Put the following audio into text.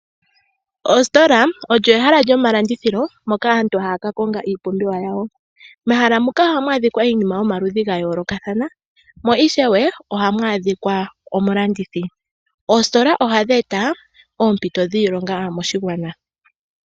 Ositola olyo ehala lyomalandithilo moka aantu haya ka konga iipumbiwa yawo. Mehala muka ohamu adhika iinima yomaludhi ga yoolokathana mo ishewe ohamu adhika omulandithi . Oositola ohadhi eta oompito dhiilonga moshigwana.